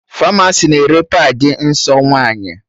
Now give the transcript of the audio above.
Famasi na-ere padị nsọ nwaanyị